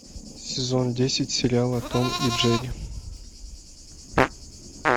сезон десять сериала том и джерри